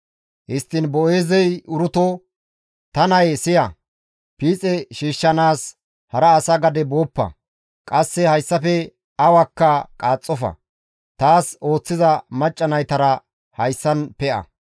Histtiin Boo7eezey Uruto, «Ta nayee siya; piixe shiishshanaas hara asa gade booppa; qasse hayssafe awakka qaaxxofa; taas ooththiza macca naytara hayssan pe7a.